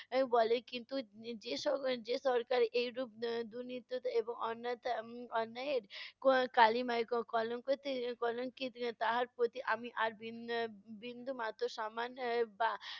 বলে কিন্তু, যে~ যেস~ যে সরকার এরূপ আহ দুর্নীতিতে এবং অন্যায়তে~ উম অন্যায়ের ক~ কালিমায় ক~ কলংকি~ কলংকিত তাহার প্রতি আমি আর বিন~ আহ বিন্দুমাত্র সম্মান আহ বা